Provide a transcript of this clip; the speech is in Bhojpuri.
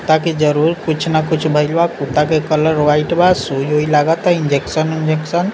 ताकि जरूर कुछ न कुछ भेल बा कुत्ता के कलर व्हाइट बा सुई-ऊई लागता इंजेक्शन वेजेक्शन।